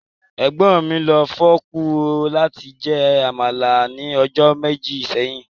Egbọn mi lo fọọku lati jẹ́ Amala ni ọjọ meji seyin.